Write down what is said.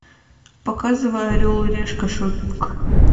показывай орел и решка шоппинг